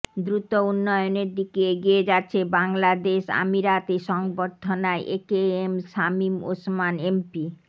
দ্রুত উন্নয়নের দিকে এগিয়ে যাচ্ছে বাংলাদেশ আমিরাতে সংবর্ধনায় একেএম শামীম ওসমান এমপি